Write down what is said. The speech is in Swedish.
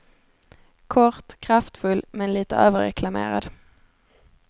Kort, kraftfull men lite överreklamerad.